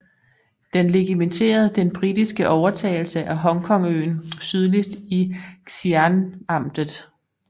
Den legitimerede den britiske overtagelse af Hongkongøen sydligst i i Xinanamtet